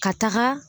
Ka taga